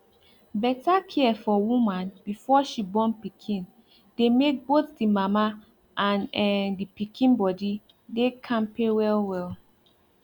better care for woman before she born pikin dey make both the mama and[um]the pikin body dey kampe well well